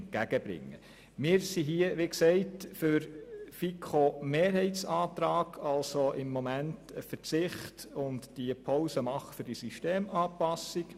Wie erwähnt sind wir für die Planungserklärung der FiKo-Mehrheit, das heisst für einen derzeitigen Verzicht beziehungsweise eine Pause hinsichtlich der Systemanpassung.